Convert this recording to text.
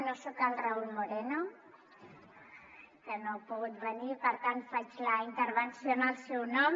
no soc el raúl moreno que no ha pogut venir i per tant faig la in·tervenció en el seu nom